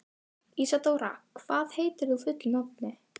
Ísadóra, hvað heitir þú fullu nafni?